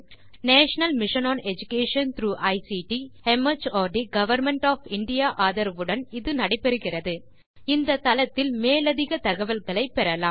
national mission on education through ICT mart government of India ஆதரவுடன் இது நடைபெறுகிறது இந்தத் தளத்தில் மேலதிகத் தகவல்களை பெறலாம்